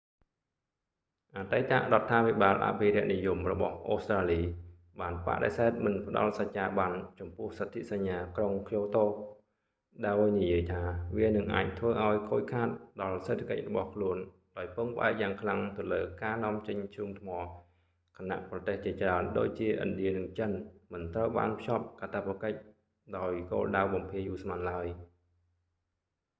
អតីតរដ្ឋាភិបាលអភិរក្សនិយមរបស់អូស្រ្តាលី បានបដិសេធមិនផ្តល់សច្ចាប័នចំពោះសទ្ធិសញ្ញាក្រុងក្យូតូ ដោយនិយាយថា វានឹងអាចធ្វើឱ្យខូចខាតដល់សេដ្ឋកិច្ចរបស់ខ្លួនដោយពឹងផ្អែកយ៉ាងខ្លាំងទៅលើការនាំចេញធ្យូងថ្ម ខណៈប្រទេសជាច្រើនដូចជា ឥណ្ឌានិងចិន មិនត្រូវបានភ្ជាប់កាតព្វកិច្ច ដោយគោលដៅបំភាយឧស្ម័នឡើយ